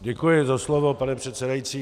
Děkuji za slovo, pane předsedající.